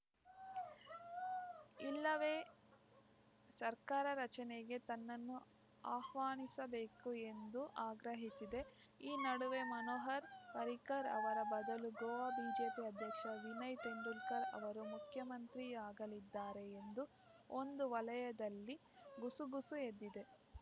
ಇಲ್ಲವೇ ಸರ್ಕಾರ ರಚನೆಗೆ ತನ್ನನ್ನು ಆಹ್ವಾನಿಸಬೇಕು ಎಂದು ಆಗ್ರಹಿಸಿದೆ ಈ ನಡುವೆ ಮನೋಹರ್‌ ಪರ್ರಿಕರ್‌ ಅವರ ಬದಲು ಗೋವಾ ಬಿಜೆಪಿ ಅಧ್ಯಕ್ಷ ವಿನಯ್‌ ತೆಂಡೂಲ್ಕರ್‌ ಅವರು ಮುಖ್ಯಮಂತ್ರಿಯಾಗಲಿದ್ದಾರೆ ಎಂದು ಒಂದು ವಲಯದಲ್ಲಿ ಗುಸುಗುಸು ಎದ್ದಿದೆ